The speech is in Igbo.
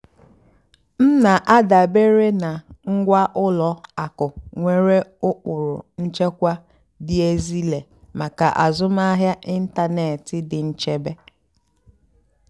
m nà-àdàbéré nà ngwá ùlọ àkụ́ nwèrè ụ́kpụ́rụ́ nchèkwà dì ézílé màkà àzụ́mahìá ị́ntánètị́ dì nchèbè.